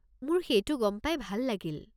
মোৰ সেইটো গম পাই ভাল লাগিল।